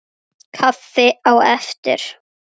Kaffi á eftir.